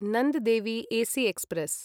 Nanda Devi AC express